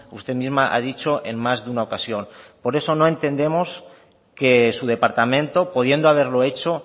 usted misma ha dicho en más de una ocasión por eso no entendemos que su departamento pudiendo haberlo hecho